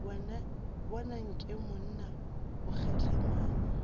bona nke monna o kgehlemanya